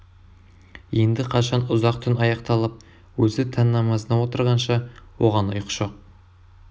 енді қашан ұзақ түн аяқталып өзі таң намазына отырғанша оған ұйқы жоқ